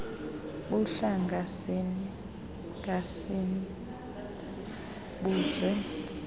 buhlanga sini buzwe